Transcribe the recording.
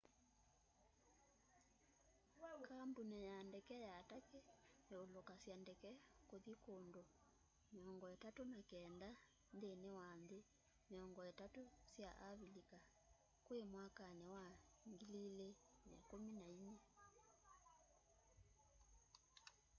kambũni ya ndeke ya turkey yũlũkasya ndeke kũthi kũũndũ 39 nthĩnĩ wa nthĩ 30 sya avĩlĩka kwĩ mwakanĩ wa 2014